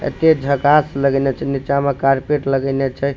ऐत्ते झकास लागनै छे नीचे में कारपेट लगैनय छे।